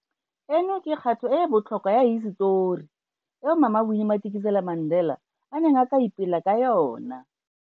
Eno ke kgato e e botlhokwa ya hisetori eo Mama Winnie Madikizela-Mandela a neng a tla ipela ka yona.